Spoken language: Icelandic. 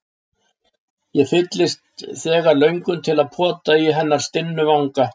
Ég fylltist þegar löngun til að pota í hennar stinnu vanga.